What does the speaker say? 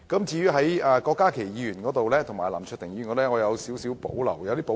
至於郭家麒議員及林卓廷議員的修正案，我則有點保留。